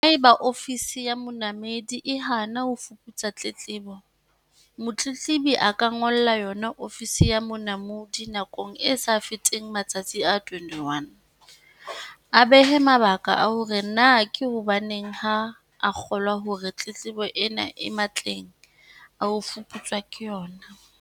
Haeba Ofisi ya Monamodi e hana ho fuputsa tletlebo, motletlebi a ka ngolla yona Ofisi ya Monamodi nakong e sa feteng matsatsi a 21, a behe mabaka a hore na ke hobaneng ha a kgolwa hore tletlebo ena e matleng a ho fuputswa ke yona.